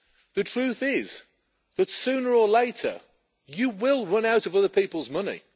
The truth is that sooner or later you will run out of other people's money.